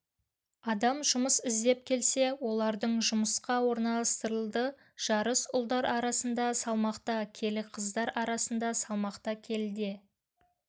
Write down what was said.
адам жұмыс іздеп келсе олардың жұмысқа орналастырылды жарыс ұлдар арасында салмақта келі қыздар арасында салмақта келіде